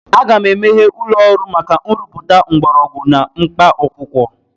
Aga m emeghe ụlọ ọrụ maka nrụpụta mgbọrọgwụ na mkpaakwụkwọ.